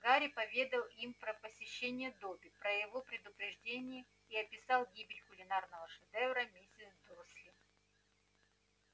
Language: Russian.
гарри поведал им про посещение добби про его предупреждение и описал гибель кулинарного шедевра миссис дурсли